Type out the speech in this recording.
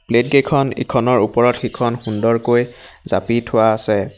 Plate কেখন ইখনৰ ওপৰত সিখন সুন্দৰকৈ জাপি থোৱা আছে।